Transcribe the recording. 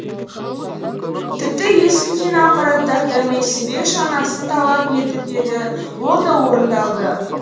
тіпті ескі киноаппараттарды менсінбей жаңасын талап етіп еді ол да орындалды